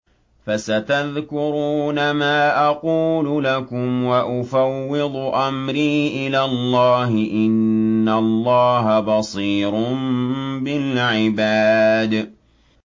فَسَتَذْكُرُونَ مَا أَقُولُ لَكُمْ ۚ وَأُفَوِّضُ أَمْرِي إِلَى اللَّهِ ۚ إِنَّ اللَّهَ بَصِيرٌ بِالْعِبَادِ